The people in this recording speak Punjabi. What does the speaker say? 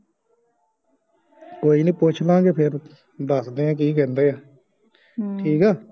ਕੋਈ ਨਹੀਂ ਪੁਸ਼ਲਾ ਗੇ ਫੇਰ ਦੱਸਦੇ ਆ ਕੀ ਕਹਿੰਦੇ ਆ ਠੀਕ ਆ